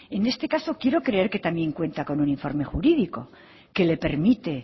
en este caso quiero creer que también cuenta con un informe jurídico que le permite